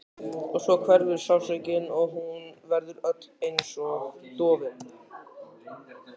Og svo hverfur sársaukinn og hún verður öll einsog dofin.